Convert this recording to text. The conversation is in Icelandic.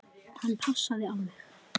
Hann passaði alveg.